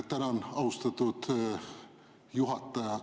Tänan, austatud juhataja!